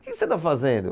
O que você está fazendo?